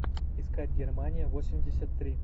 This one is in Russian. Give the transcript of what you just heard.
искать германия восемьдесят три